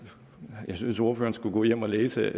jeg synes at ordføreren skulle gå hjem og læse